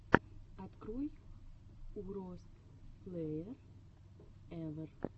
открой уростплэерэвэр